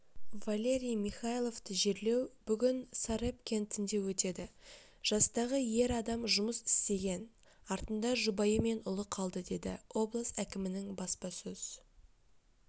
валерий михайловты жерлеу бүгін сарепт кентінде өтеді жастағы ер адам жұмыс істеген артында жұбайы мен ұлы қалды деді облыс әкімінің баспасөз